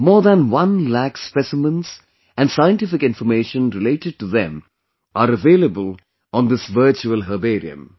More than one lakh Specimens and Scientific Information related to them are available on this Virtual Herbarium